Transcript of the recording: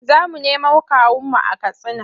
Za mu nemo kawunmu a Katsina.